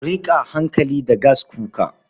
Ku riƙa yin hankali da gaskuka.